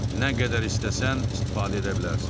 Nə qədər istəsən, istifadə edə bilərsən.